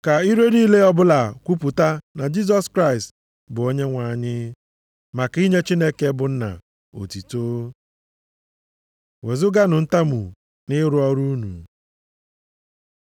Ka ire niile ọbụla kwupụta na Jisọs Kraịst bụ Onyenwe anyị, maka inye Chineke bụ Nna, otuto. Wezuganụ ntamu nʼịrụ ọrụ unu